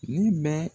Ne bɛ